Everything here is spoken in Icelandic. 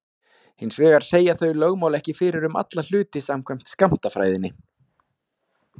Hins vegar segja þau lögmál ekki fyrir um alla hluti samkvæmt skammtafræðinni.